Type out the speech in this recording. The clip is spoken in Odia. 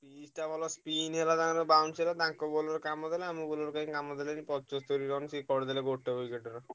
ତିରିଶିଟା ball spin ହେଲା ତାଙ୍କ bounce ହେଲା। ତାଙ୍କ bowler କାମ କଲା ଆମ bowler କଣ କାମ କଲେନି ପଚସ୍ତରୀ run ସିଏ କରିଦେଲେ ଗୋଟେ